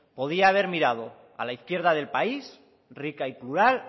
podría haber mirado a la izquierda del país rica y plural